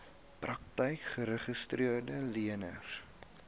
praktyke geregistreede leners